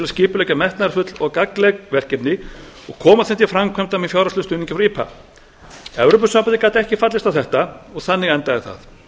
skipuleggja metnaðarfull og gagnleg verkefni og koma þeim til framkvæmda með fjárhagslegum stuðningi frá ipa evrópusambandið gat ekki fallist á þetta og þannig endaði það